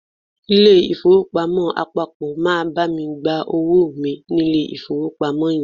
Ilé ìfowópamọ́ àpapọ̀ máa bá mi gba owó mi nílé ìfowópamọ́ yẹn.